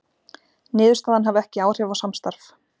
Niðurstaðan hafi ekki áhrif á samstarf